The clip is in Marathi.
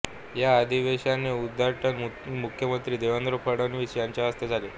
या अधिवेशनाचे उद्घाटन मुख्यमंत्री देवेंद्र फडणवीस यांच्या हस्ते झाले